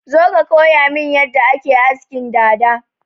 Zo ka koyamin yadda ake askin dada!